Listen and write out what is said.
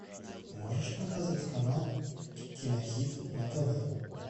можешь показать канал кинохит на тв